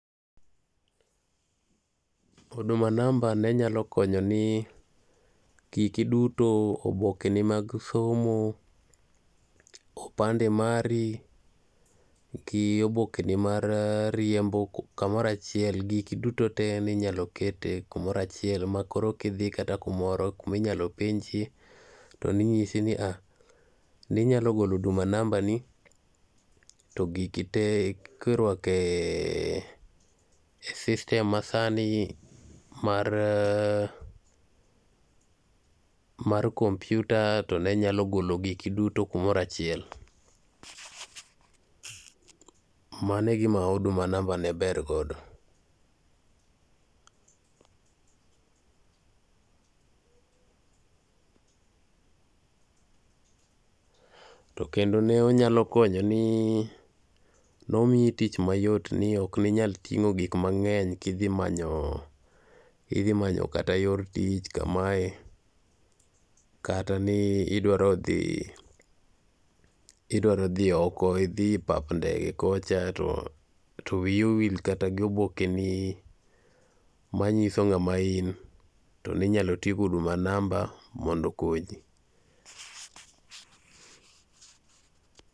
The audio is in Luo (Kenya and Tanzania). Huduma namba ne nyalo konyo ni giki duto obokeni mag somo opade mari gi obokeni mar riembo, kamoro achiel, giki duto te ne inyao ketni kamoro achiel makoro kata kidhi kumoro to ne inyalo golo Huduma namba to kirwako e system masani mar computer to ne nyalo golo giki duto kumoro achiel. Mano e gima Huduma namba ne ber godo. To kendo ne onyalo konyo ni ne omiyi tich mayot. Ne ok inyal ting'o gik mang'eny kidhi manyo, kidhi manyo kata yor tich kamae kata ni idwaro dhi , idwari dhi oko, idhi papa ndege kocha to wiyi owil kata gi obokeni. ma nyiso ng'ama in, Ne inyalo ti gi Huduma namba mondo okonyi.